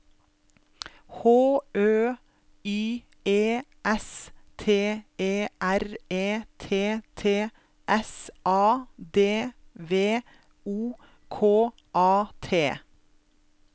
H Ø Y E S T E R E T T S A D V O K A T